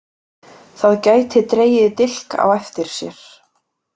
Það gæti dregið dilk á eftir sér.